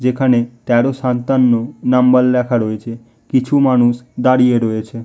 যেখানে তেরো সাতান্ন নাম্বার লেখা রয়েছে। কিছু মানুষ দাঁড়িয়ে রয়েছে--